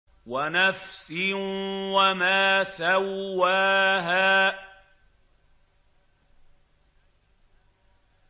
وَنَفْسٍ وَمَا سَوَّاهَا